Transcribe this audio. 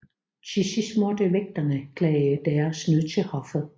Til sidst måtte vægterne klage deres nød til hoffet